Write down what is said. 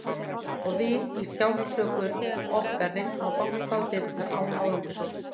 Og við í sjálfsásökun okkar reyndum að banka á dyrnar, án árangurs.